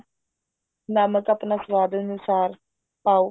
ਨਮਕ ਅਪਨੇ ਸਵਾਦ ਅਨੁਸਾਰ ਪਾਓ